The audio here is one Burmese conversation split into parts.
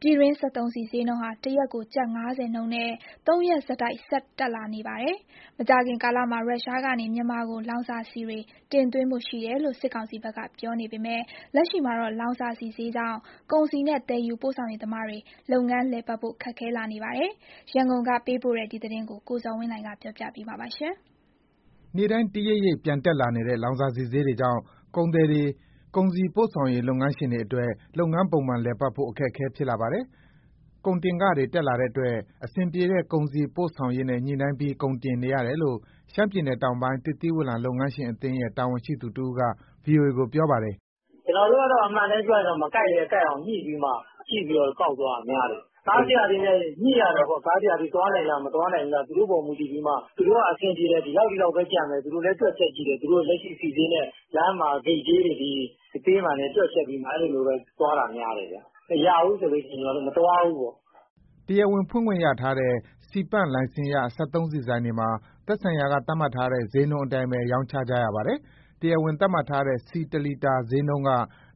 ပြည်တွင်းစက်သုံးဆီဈေးနှုန်းဟာ တရက်ကို ကျပ် ၅၀ နှုန်းနဲ့ သုံးရက်ဆက်တိုက် ဆက် တက်လာပါတယ်။ မကြာခင်ကာလမှာ ရုရှားကနေ မြန်မာကို လောင်စာဆီတွေ တင်သွင်းဖို့ရှိတယ်လို့ စစ်ကောင်စီဘက်က ပြောနေပေမယ့် လက်ရှိမှာတော့ လောင်စာဆီဈေးကြောင့် ကုန်စည်နဲ့ သယ်ယူပို့ဆောင်ရေးသမားတွေ လုပ်ငန်းလည်ပတ်ဖို့ ခက်ခဲလာနေပါတယ်။ ရန်ကုန်က ပေးပို့တဲ့ဒီသတင်းကို ကိုသားညွှန့်ဦး က တင်ပြပေးထားပါတယ်။ နေ့တိုင်း တရိပ်ရိပ်ပြန်တက်လာနေတဲ့ လောင်စာဆီဈေးတွေကြောင့် ကုန်သည်တွေ၊ ကုန်စည်ပို့ဆောင်ရေး လုပ်ငန်းရှင်တွေအတွက် လုပ်ငန်းပုံမှန်လည်ပတ်ဖို့ အခက်အခဲ ဖြစ်လာပါတယ်။ ကုန်တင်ခတွေတက်လာတဲ့အတွက် အဆင်ပြေတဲ့ ကုန်စည်ပို့ဆောင်ရေးနဲ့ ညှိနှိုင်းပြီး ကုန်တင်နေရတယ်လို့ ရှမ်းပြည်နယ် တောင်ပိုင်း သစ်သီးဝလံလုပ်ငန်းရှင်အသင်းရဲ့ တာဝန်ရှိသူတဦးက ဗွီအိုအေကို ပြောပါတယ်။ " ကျနော်တို့က အမှန်အတိုင်းပြောရရင် မကိုက်လည်း ကိုက်အောင်ညှိပြီးမှ ကြည့်ပြီး ကောက်သွားတာ များတယ်။ ကားဆရာတွေနဲ့ ညှိရတာပေါ့။ ကားဆရာတွေ သွားနိုင်လား၊ မသွားနိုင်ဘူးလား။ သူတို့အပေါ်မူတည်ပြီးမှ သူတို့ကအဆင်ပြေတယ် ဒီလောက်၊ ဒီလောက်ပဲ ကျန်မယ်၊ သူတို့လည်း တွက်ချက်ကြည့်တယ်၊ လက်ရှိဆီဈေးနဲ့ လမ်းမှာဂိတ်ကြေးတွေနဲ့ တွက်ချက်ပြီးမှ အဲလိုသွားတာများတယ်။ မရဘူးဆို ကျနော်တို့ မသွားဘူးပေါ့။" တရားဝင်ဖွင့်ခွင့်ရထားတဲ့ ဆီပန့်လိုင်စင်ရ စက်သုံးဆီဆိုင်တွေမှာ သက်ဆိုင်ရာက သတ်မှတ်ထားတဲ့ ဈေးနှုန်းအတိုင်းပဲ ရောင်းချရပါတယ်။ တရားဝင် သတ်မှတ်ထားတဲ့ ဆီတလီတာဈေးနှုန်းက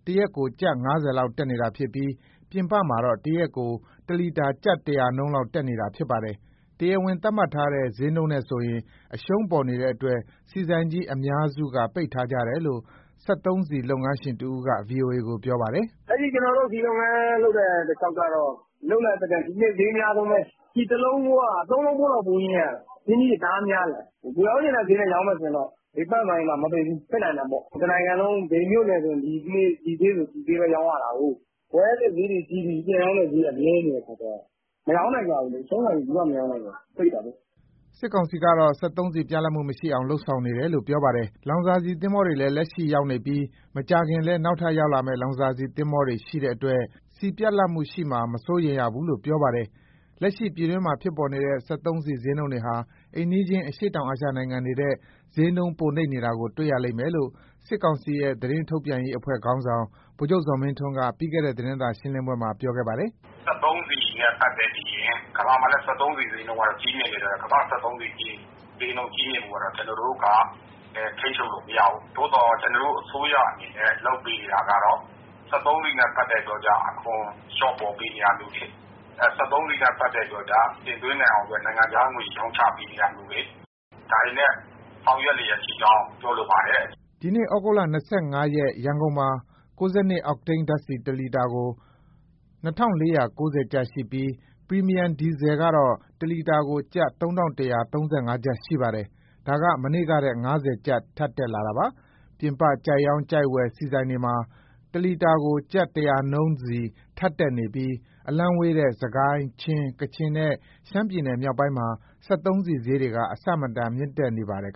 တရက်ကို ကျပ် ၅၀ လောက် တက်နေတာဖြစ်ပြီး ပြင်ပမှာတော့ တရက်ကို တလီတာ ကျပ် ၁၀၀ နှုန်းလောက် တက်နေတာဖြစ်ပါတယ်။ တရားဝင်သတ်မှတ်ထားတဲ့ ဈေးနှုန်းနဲ့ဆိုရင် အရှုံးပေါ်နေတဲ့အတွက် ဆီဆိုင်ကြီး အများစုက ပိတ်ထားကြတယ်လို့ စက်သုံးဆီ လုပ်ငန်းရှင်တဦးက ဗွီအိုအေကို ပြောပါတယ်။ " လက်ရှိကျနော်တို့ ဆီလုပ်ငန်းလုပ်တဲ့ တလျှောက်ကတော့ ဒီနှစ်ဈေး အများဆုံးပဲ၊ ဆီတလုံးဖိုးက သုံးလုံးဖိုး ပိုရင်းရတယ်။ အရင်းအနှီးတွေ တအားများတယ်။ ကိုယ်ရောင်းချင်တဲ့ဈေးနဲ့ ရောင်းမယ်ဆိုရင် ဘယ်ပန့်ဆိုင်မှမပိတ်ဘူး ဖွင့်နိုင်တာပေါ့။ တနိုင်ငံလုံး ဘယ်မြို့နယ်မဆို ဒီဈေးနဲ့ပဲ ရောင်းရတာကိုး။ ဝယ်ရတဲ့ဈေးတွေကြီးပြီး ပြန်ရောင်းတဲ့ဈေးက နည်းနေတဲ့အခါကျတော့ မရောင်းနိုင်ကြဘူးလေ။ အရှုံးခံပြီး မရောင်းကြဘူး၊ ပိတ်တာပေါ့။” စစ်ကောင်စီဘက်ကတော့ စက်သုံးဆီပြတ်လပ်မှု မရှိအောင် လုပ်ဆောင်နေတယ် လို့ ပြောပါတယ်။ လောင်စာဆီ သင်္ဘောတွေလည်း လက်ရှိရောက်နေပြီး မကြာခင်လည်း နောက်ထပ်ရောက်လာမယ့် လောင်စာဆီ သင်္ဘောတွေလည် ရှိတဲ့အတွက် ဆီပြတ်လပ်မှုရှိမှာ မစိုးရိမ်ရဘူးလို့ ပြောပါတယ်။ လက်ရှိ ပြည်တွင်းမှာ ဖြစ်ပေါ်နေတဲ့ စက်သုံးဆီဈေးတွေဟာ အိမ်နီးချင်း အရှေ့တောင်အာရှ နိုင်ငံတွေထက် ဈေးနှုန်းပိုနိမ့်နေတာကို တွေ့ရလိမ့်မယ်လို့ စစ်ကောင်စီရဲ့ သတင်းထုတ်ပြန်ရေး အဖွဲ့ခေါင်းဆောင် ဗိုလ်ချုပ်ဇော်မင်းထွန်းက ပြီးခဲ့တဲ့သတင်းစာရှင်းလင်းပွဲမှာ ပြောခဲ့တာပါ။ "စက်သုံးဆီနဲ့ပတ်သက်ရင် ကမ္ဘာမှာလည်း စက်သုံးဆီဈေးက ကြီးမြင့်နေတော့ ကျနော်တို့က ထိန်းချုပ်လို့မရဘူး၊ သို့သော် ကျနော်တို့အစိုးရအနေနဲ့ လုပ်ပေးနေတာကတော့ စက်သုံးဆီနဲ့ ပတ်သက်ပြီးတော့ အခွန်လျှော့ပေါ့ ပေးနေတာမျိုးတွေ၊ စက်သုံးဆီနဲ့ပတ်သက်ပြီးတော့ကျ တင်သွင်းနိုင်အောင် နိုင်ငံခြားငွေ ရောင်းချပေးနေတာမျိုးတွေ ဒါတွေနဲ့ ဆောင်ရွက်လျက်ရှိကြောင်း ပြောလိုပါတယ်။" ဒီနေ့ ဩဂုတ်လ၂၅ရက် ရန်ကုန်မှာ 92 အောက်တိန်းဓာတ်ဆီတလီတာကို ၂, ၄၉၀ ကျပ်ရှိပြီး ပရီမီယံဒီဇယ်ကတော့ တလီတာကို ကျပ် ၃၁၃၅ ကျပ် ရှိပါတယ်။ ဒါက မနေ့ကထက် ကျပ်၅၀ ထပ်တက်လာတာပါ။ ပြင်ပကြိုက်ရောင်း၊ ကြိုက်ဝယ် ဆီဆိုင်တွေမှာ တလီတာကို ကျပ် ၁၀၀ နှုန်းစီ ထပ်တက်နေပြီး အလှမ်းဝေးတဲ့ စစ်ကိုင်း၊ ချင်း၊ ကချင်နဲ့ ရှမ်းပြည်နယ် မြောက်ပိုင်းမှာ စက်သုံးဆီဈေးတွေက အဆမတန် တက်နေတာ ဖြစ်ပါတယ်။